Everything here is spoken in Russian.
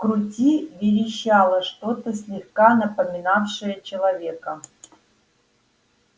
крути верещало что-то слегка напоминавшее человека